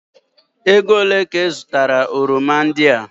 Ego olee ka ị zụtara oroma ndị a?